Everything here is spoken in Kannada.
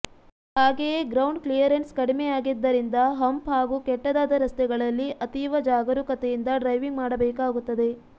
ಹಾಗೆಯೇ ಗ್ರೌಂಡ್ ಕ್ಲಿಯರನ್ಸ್ ಕಡಿಮೆಯಾಗಿದ್ದರಿಂದ ಹಂಪ್ ಹಾಗೂ ಕೆಟ್ಟದಾದ ರಸ್ತೆಗಳಲ್ಲಿ ಅತೀವ ಜಾಗರೂಕತೆಯಿಂದ ಡ್ರೈವಿಂಗ್ ಮಾಡಬೇಕಾಗುತ್ತದೆ